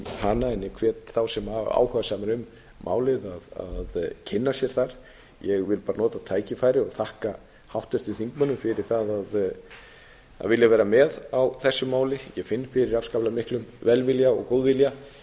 en ég hvet þá sem eru áhugasamir um málið að kynna sér það ég vil bara nota tækifæri og þakka hér þingmönnum fyrir það að vilja vera með á þessu máli ég finn fyrir afskaplega miklum velvilja og góðvilja